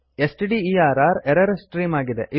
ಸ್ಟ್ಡರ್ error stream ಆಗಿದೆ